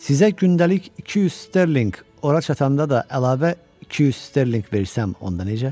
Sizə gündəlik 200 sterlinq, ora çatanda da əlavə 200 sterlinq versəm, onda necə?